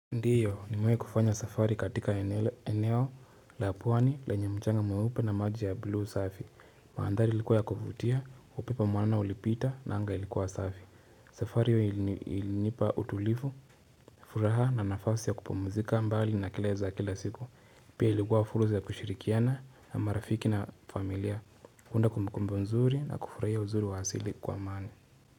Ndio nimewahi kufanya safari katika eneo la pwani lenye mchanga mweupe na maji ya blue safi Mandhari ilikuwa ya kuvutia, upepo mwanana ulipita na anga ilikuwa safi safari hiyo ilinipa utulivu, furaha na nafasi ya kupumzika mbali na kelele za kila siku Pia ilikuwa fursa ya kushirikiana na marafiki na familia huunda kumbukumbu nzuri na kufurahia uzuri wa asili kwa mani.